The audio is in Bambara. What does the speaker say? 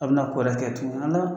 Aruna kɔrɛkɛ tugun